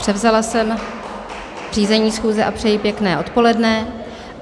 Převzala jsem řízení schůze a přeji pěkné odpoledne.